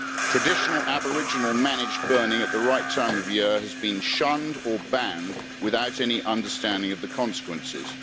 Traditional Aboriginal managed burning at the right time of year has been shunned or banned without any understanding of the consequences.